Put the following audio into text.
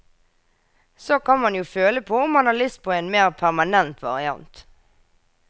Så kan man jo føle på om man har lyst på en mer permanent variant.